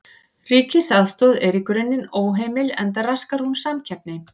Ríkisaðstoð er í grunninn óheimil enda raskar hún samkeppni.